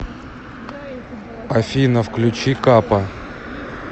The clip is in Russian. афина включи капа